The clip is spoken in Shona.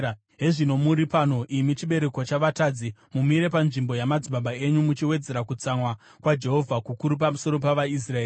“Hezvino muri pano, imi chibereko chavatadzi, mumire panzvimbo yamadzibaba enyu muchiwedzera kutsamwa kwaJehovha kukuru pamusoro pavaIsraeri.